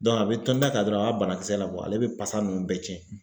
a bɛ tɔntɔn ta dɔrɔn a b'a banakisɛ labɔ ale bɛ pasa ninnu bɛɛ tiɲɛ